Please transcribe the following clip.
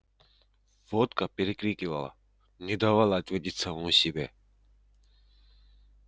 водка перекрикивала не давала ответить самому себе